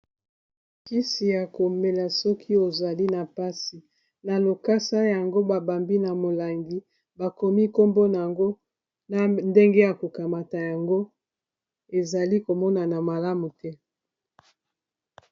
kisi ya komela soki ozali na mpasi na lokasa yango babambi na molangi bakomi kombona ngo na ndenge ya kokamata yango ezali komonana malamu te